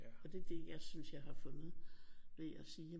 Og det det jeg synes jeg har fundet ved at sige